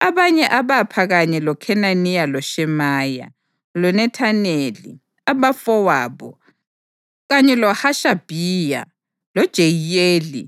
Abanye abapha kanye loKhenaniya loShemaya, loNethaneli, abafowabo, kanye loHashabhiya, loJeyiyeli,